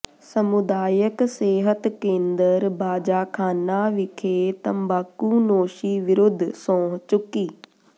ਸਮੁਦਾਇਕ ਸਿਹਤ ਕੇਂਦਰ ਬਾਜਾਖਾਨਾ ਵਿਖੇ ਤੰਬਾਕੂਨੋਸ਼ੀ ਵਿਰੁੱਧ ਸਹੁੰ ਚੱੁਕੀ